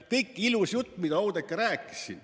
Pikk ilus jutt, mida Oudekki siin rääkis.